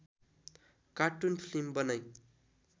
cartoon film बनाई